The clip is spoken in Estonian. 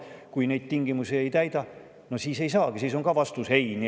Kui sa neid tingimusi ei täida, siis ei saagi ja siis on ka vastus eitav.